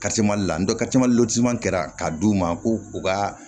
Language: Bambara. la kɛra ka d'u ma ko u ka